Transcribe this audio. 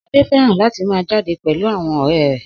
Sade fẹ́ràn láti máa jáde pẹ̀lú àwọn ọ̀rẹ́ rẹ̀